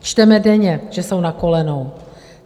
Čteme denně, že jsou na kolenou.